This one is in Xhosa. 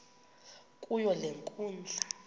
kuyo le nkundla